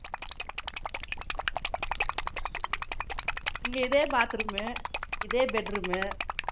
இங்க இதே bathroom இதே bedroom